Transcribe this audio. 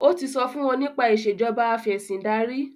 o tí so fún wón nípa Ìṣèjọba Afẹ̀sìndarí